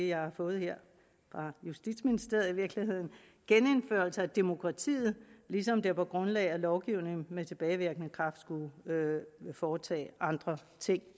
jeg har fået her fra justitsministeriet genindførelse af demokratiet ligesom det på grundlag af lovgivning med tilbagevirkende kraft skulle foretage andre ting